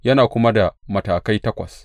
Yana kuma da matakai takwas.